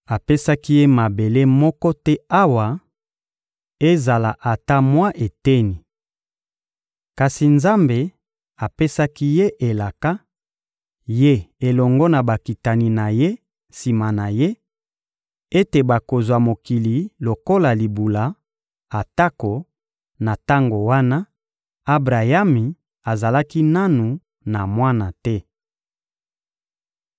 Apesaki ye mabele moko te awa, ezala ata mwa eteni. Kasi Nzambe apesaki ye elaka, ye elongo na bakitani na ye sima na ye, ete bakozwa mokili lokola libula, atako, na tango wana, Abrayami azalaki nanu na mwana te.